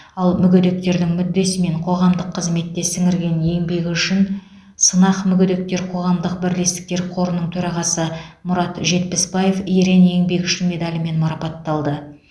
ал мүгедектердің мүддесі мен қоғамдық қызметте сіңірген еңбегі үшін сынақ мүгедектер қоғамдық бірлестіктер қорының төрағасы мұрат жетпісбаев ерен еңбегі үшін медалімен марапатталды